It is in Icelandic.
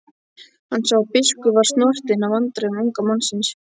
Hann sá að biskup varð snortinn af vandræðum unga mannsins.